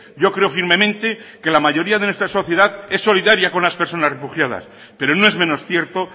yo creo firmemente que la mayoría de nuestra sociedad es solidaria con las personas refugiadas pero no es menos cierto